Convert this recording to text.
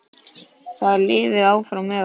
Þið lifið áfram með okkur.